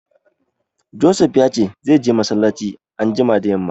Josef ya ce zai je massalaci anjima da yamma